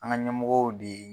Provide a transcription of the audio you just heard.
An ka ɲɛmɔgɔ de ye.